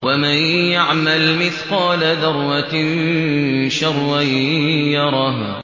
وَمَن يَعْمَلْ مِثْقَالَ ذَرَّةٍ شَرًّا يَرَهُ